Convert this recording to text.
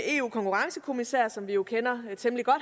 konkurrencekommissær som vi jo kender temmelig godt